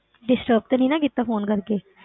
Disturb ਤੇ ਨੀ ਨਾ ਕੀਤਾ phone ਕਰਕੇ।